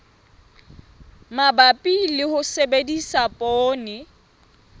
mabapi le ho sebedisa poone